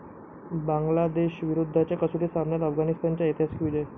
बांगलादेशविरुद्धच्या कसोटी सामन्यात अफगाणिस्तानचा ऐतिहासिक विजय